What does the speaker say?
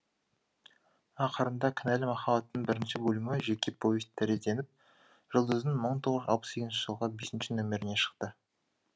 ақырында кінәлі махаббаттың бірінші бөлімі жеке повесть тәрізденіп жұлдыздың мың тоғыз жүз алпыс сегізінші жылғы бесінші нөміріне шықты